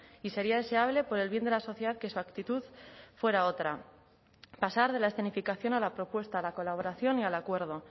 y sería deseable por el bien de la sociedad que su actitud fuera otra pasar de la escenificación a la propuesta la colaboración y al acuerdo